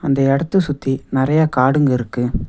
இந்த இடத்த சுத்தி நெறைய காடுங்க இருக்கு.